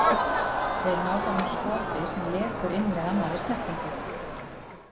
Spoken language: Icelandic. Þeir ná þarna skoti sem lekur inn með annari snertingu.